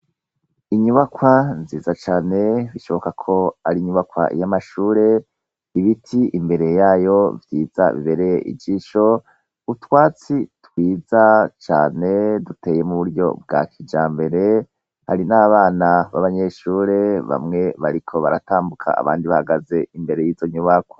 Inyubakwa nziza cane bishoboka ko ari inyubakwa y'amashure. Ibiti imbere yayo vyiza bibereye ijisho, utwatsi twiza cane duteye mu buryo bwa kijyambere. Hari n'abana b'abanyeshure, bamwe bariko baratambuka ,abandi bahagaze imbere y'izo nyubakwa.